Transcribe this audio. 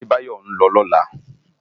Adebayo n lò lòlá